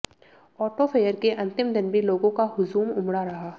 auto fair के अंतिम दिन भी लोगों का हुजूम उमड़ा रहा